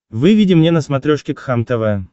выведи мне на смотрешке кхлм тв